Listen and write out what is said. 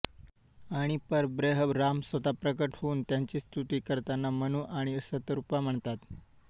आणि परब्रह्म राम स्वतः प्रकट होऊन त्यांची स्तुती करताना मनु आणि सतरूपा म्हणतात